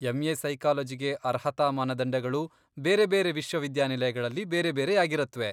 M A. ಸೈಕಾಲಜಿಗೆ ಅರ್ಹತಾ ಮಾನದಂಡಗಳು ಬೇರೆ ಬೇರೆ ವಿಶ್ವವಿದ್ಯಾನಿಲಯಗಳಲ್ಲಿ ಬೇರೆ ಬೇರೆಯಾಗಿರತ್ವೆ.